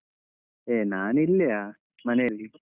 ಹೇ ನಾನು ಇಲ್ಲೆಯಾ ಮನೇಲ್ಲಿ.